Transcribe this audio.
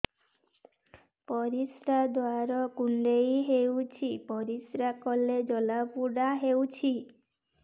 ପରିଶ୍ରା ଦ୍ୱାର କୁଣ୍ଡେଇ ହେଉଚି ପରିଶ୍ରା କଲେ ଜଳାପୋଡା ହେଉଛି